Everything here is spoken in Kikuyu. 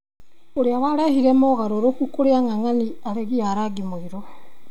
ũrĩa warehire mogarũrũku kũrĩ ang'ang'ani aregi a rangi mũirũ